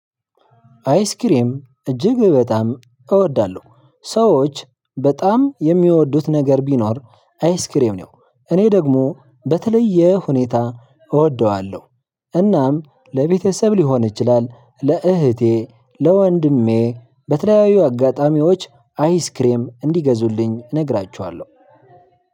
አይስክሬም እጅግ በጣም እወዳለሁ ሰዎች በጣም የሚወዱት ነገር ቢኖር አይስክሬም ነው እኔ ደግሞ በተለየ ሁኔታ እወደዋለሁ። እናም ለቤተሰብ ልሆን ይችላል፣ ለእህቴ፣ ለወንድሜ በተለያዩ አጋጣሚዎች አይስከሬም እንዲገዙልኝ እነግራቸዋለው።